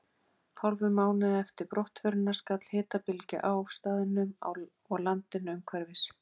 Hálfum mánuði eftir brottförina skall hitabylgja á staðnum og landinu umhverfis.